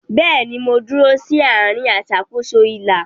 Bẹ́ẹ̀ni, mo dúró sí àárín aṣàkóso ilà.